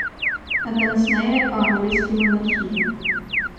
Natančneje, o angleški monarhiji.